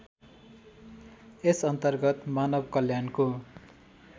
यस अन्तर्गत मानवकल्याणको